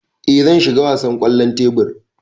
Ee zan shiga wasan kwallon tebur.